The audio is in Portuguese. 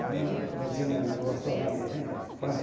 Então, meu tio mesmo gostou tanto assim, falei, pronto.